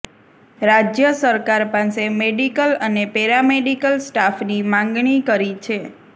રાજ્ય સરકાર પાસે મેડિકલ અને પેરામેડિકલ સ્ટાફની માંગણી કરી છે